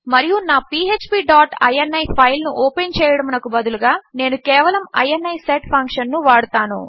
మరియు నా PHP dot ini file ను ఓపెన్ చేయడము నకు బదులుగా నేను కేవలము ఇని సెట్ ఫంక్షన్ ను వాడతాను